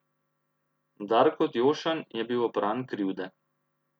Darko Djošan je bil opran krivde.